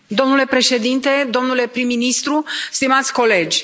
Domnule președinte, domnule prim ministru, stimați colegi.